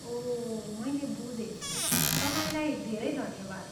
ओह, मैले बुझेँ। तपाईँलाई धेरै धन्यवाद।